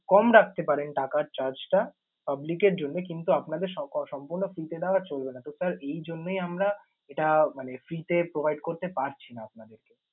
কম রাখতে পারেন টাকার charge টা public এর জন্যে কিন্তু আপনাদের সক~ সম্পূর্ণ free তে দেওয়া চলবে না। তো sir এইজন্যেই আমরা এটা মানে free তে provide করতে পারছি না আপনাদেরকে।